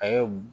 A ye mun